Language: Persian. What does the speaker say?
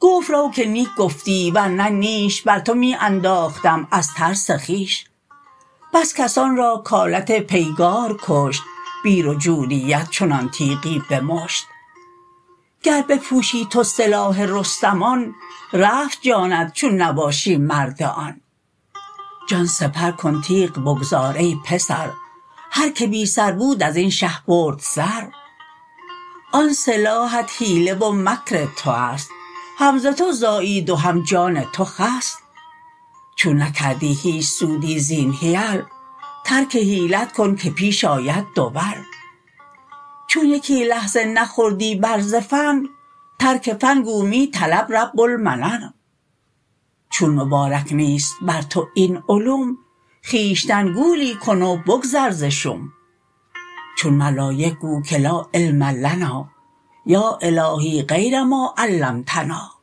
گفت رو که نیک گفتی ورنه نیش بر تو می انداختم از ترس خویش بس کسان را کآلت پیگار کشت بی رجولیت چنان تیغی به مشت گر بپوشی تو سلاح رستمان رفت جانت چون نباشی مرد آن جان سپر کن تیغ بگذار ای پسر هر که بی سر بود ازین شه برد سر آن سلاحت حیله و مکر توست هم ز تو زایید و هم جان تو خست چون نکردی هیچ سودی زین حیل ترک حیلت کن که پیش آید دول چون یکی لحظه نخوردی بر ز فن ترک فن گو می طلب رب المنن چون مبارک نیست بر تو این علوم خویشتن گولی کن و بگذر ز شوم چون ملایک گو که لا علم لنا یا الهی غیر ما علمتنا